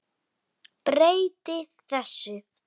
Breyti þessu.